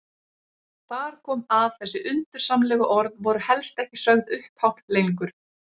Þar kom að þessi undursamlegu orð voru helst ekki sögð upphátt lengur.